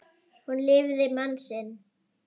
Hún lifði mann sinn.